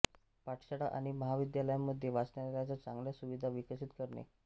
पाठशाळा आणि महाविद्यालयांमध्ये वाचनालयाच्या चांगल्या सुविधा विकसित करणे